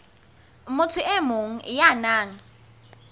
motho e mong ya nang